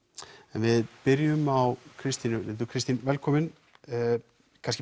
en við byrjum á Kristínu Lindu Kristín velkomin kannski